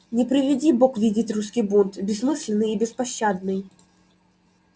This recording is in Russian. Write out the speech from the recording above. не приведи бог видеть русский бунт бессмысленный и беспощадный